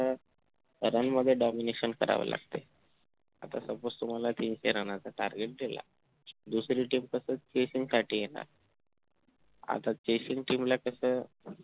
run मध्ये domination करावं लागतंय आत suppose तुम्हाला तीन चार run च target दिलंय दुसरी team तशी chassing साठी येणार आता chassing team ला कसं